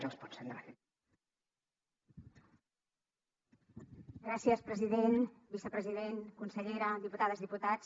gràcies president vicepresident consellera diputades i diputats